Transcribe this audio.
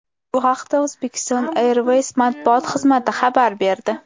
Bu haqda Uzbekistan Airways matbuot xizmati xabar berdi.